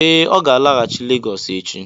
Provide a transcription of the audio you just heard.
Ee, ọ ga-alaghachi Legọs echi